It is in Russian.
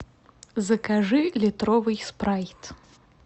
закажи литровый спрайт